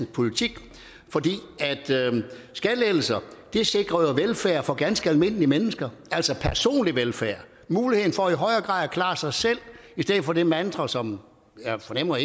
politik for skattelettelser sikrer velfærd for ganske almindelige mennesker altså personlig velfærd muligheden for i højere grad at klare sig selv i stedet for det mantra som jeg fornemmer